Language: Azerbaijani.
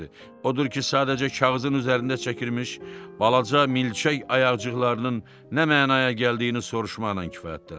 Odur ki, sadəcə kağızın üzərində çəkilmiş balaca milçək ayaqcıqlarının nə mənaya gəldiyini soruşmaqla kifayətləndi.